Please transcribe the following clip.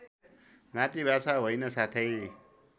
मातृभाषा होइन साथै